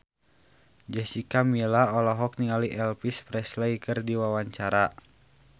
Jessica Milla olohok ningali Elvis Presley keur diwawancara